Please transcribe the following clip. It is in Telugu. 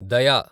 దయ